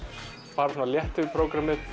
fara létt yfir prógrammið